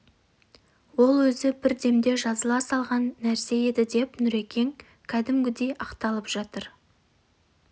ол өзі бір демде жазыла салған нәрсе еді деп нүрекең кәдімгідей ақталып жатыр